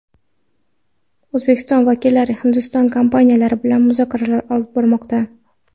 O‘zbekiston vakillari Hindiston kompaniyalari bilan muzokaralar olib bormoqda.